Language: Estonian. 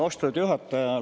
Austatud juhataja!